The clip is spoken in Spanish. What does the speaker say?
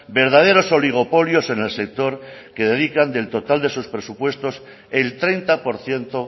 verdaderos oligopolios en el sector que dedican del total de sus presupuestos el treinta por ciento